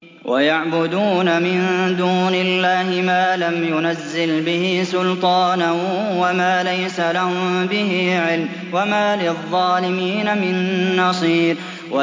وَيَعْبُدُونَ مِن دُونِ اللَّهِ مَا لَمْ يُنَزِّلْ بِهِ سُلْطَانًا وَمَا لَيْسَ لَهُم بِهِ عِلْمٌ ۗ وَمَا لِلظَّالِمِينَ مِن نَّصِيرٍ